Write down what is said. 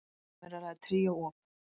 Um er að ræða tríó op.